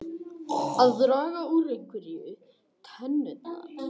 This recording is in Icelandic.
Að draga úr einhverju tennurnar